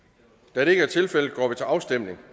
da det ikke er tilfældet går vi til afstemning